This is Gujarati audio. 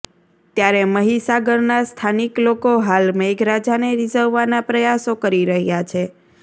ત્યારે મહીસાગરના સ્થાનિક લોકો હાલ મેઘરાજાને રિઝવવાના પ્રયાસો કરી રહ્યાં છે